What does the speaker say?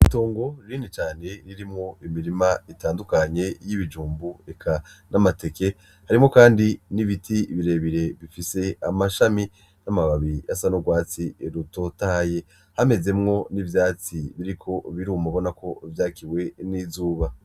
Itongo rinini cane ririmwo imirima itandukanye ,y'ibijumbu eka n'amateke. Harimwo kandi n'ibiti birebire bifise amashami ,n'amababi asa n'ugwatsi rutotahaye ; hamezemwo n'ivyatsi biriko biruma ubonako vyakiwe n'izuba.